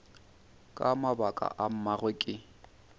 ka mabaka a mangwe ke